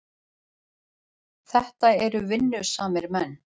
Þetta eru vinnusamir menn.